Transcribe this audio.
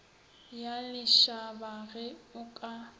ya lešaba ge o ka